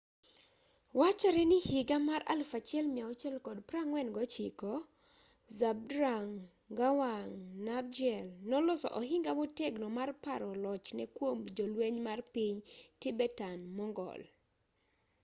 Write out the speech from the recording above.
wachore ni higa mar 1649 zhabdrung ngawang namgyel noloso ohinga motegno mar paro lochne kuom jolweny mar piny tibetan-mongol